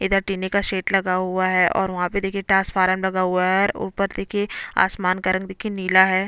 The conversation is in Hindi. इधर टिने का शेड लगा हुआ है और वहाँ पे देखिये ट्रांसफॉर्मर लगा हुआ है और ऊपर देखिये आसमान का रंग देखिये नीला है।